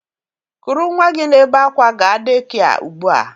kuru nnwa gị na-ebe akwa gaa dekia ugbu a!